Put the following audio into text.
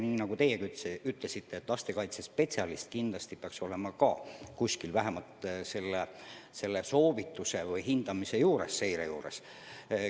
Nii nagu teiegi ütlesite, lastekaitsespetsialist peaks kindlasti olema selle hindamise juures, seire juures.